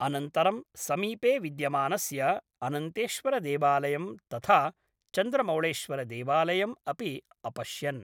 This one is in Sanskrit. अनन्तरं समीपे विद्यमानस्य अनन्तेश्वरदेवालयं तथा चन्द्रमौळेश्वरदेवालयम् अपि अपश्यन्